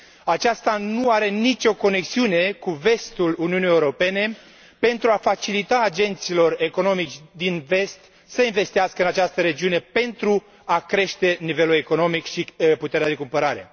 Aceasta nu are nicio conexiune cu vestul Uniunii Europene pentru a facilita agenților economici din vest investițiile în această regiune pentru a crește nivelul economic și puterea de cumpărare.